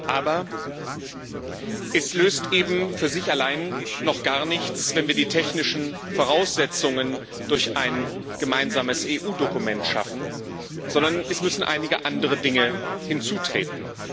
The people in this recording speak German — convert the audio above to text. Aber es löst eben für sich allein noch gar nichts, wenn wir die technischen Voraussetzungen durch ein gemeinsames EU Dokument schaffen, sondern es müssen einige andere Dinge hinzutreten.